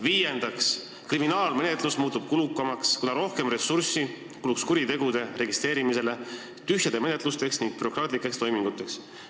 Viiendaks muutuks kriminaalmenetlus kulukamaks, kuna kuluks rohkem ressurssi kuritegude registreerimisele, tühjadele menetlustele ning bürokraatlikele toimingutele.